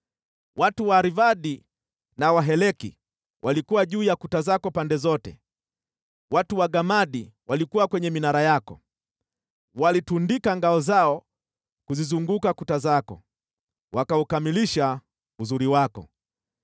Watu wa Arvadi na wa Heleki walikuwa juu ya kuta zako pande zote; watu wa Gamadi walikuwa kwenye minara yako. Walitundika ngao zao kuzizunguka kuta zako; wakaukamilisha uzuri wako.